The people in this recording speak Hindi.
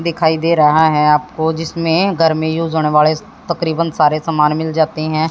दिखाई दे रहा है आपको जिसमें गर्मी यूज होने वाड़े तकरीबन सारे सामान मिल जाती हैं।